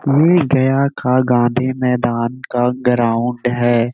वीर गया का गाँधी मैदान का ग्राउंड है।